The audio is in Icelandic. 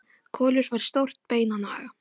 Kolur fær stórt bein að naga.